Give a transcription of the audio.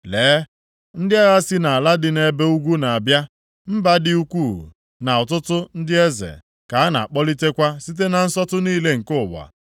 “Lee, ndị agha si nʼala dị nʼebe ugwu na-abịa; mba dị ukwuu na ọtụtụ ndị eze ka a na-akpọlitekwa site na nsọtụ niile nke ụwa.